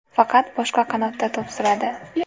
Faqat boshqa qanotda to‘p suradi.